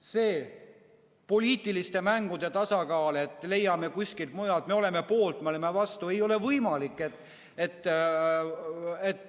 See poliitiliste mängude tasakaal, et leiame kuskilt mujalt, me oleme poolt, me oleme vastu, ei ole võimalik.